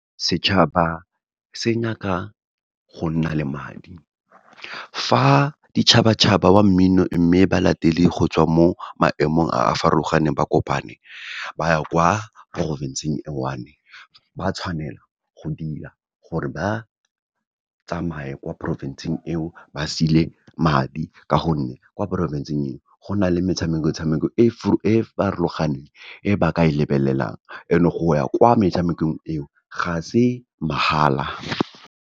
Setšhaba se nyaka go nna le madi. Fa ditšhabatšhaba wa mmino, mme ba latele go tswa mo maemong a a farologaneng ba kopane, ba ya kwa porofensing e one-e, ba tshwanela go dira, gore ba tsamaye kwa porofensing eo, ba sile madi, ka gonne kwa porofensing eo, go na le metshameko tshameko e farologaneng, e ba ka e lebelelang, and-e go ya kwa metshamekong eo, ga se mahala.